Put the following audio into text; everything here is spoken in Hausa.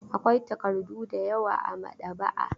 Akwai takardu da yawa a maɗaba'a.